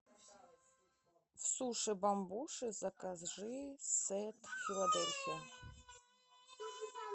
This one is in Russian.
суши бамбуши закажи сет филадельфия